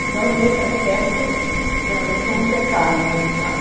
Então, nesse aspecto, realmente foi um pecado do meu pai.